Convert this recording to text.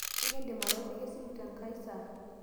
ekindim atooshoki esimu tenkai saa?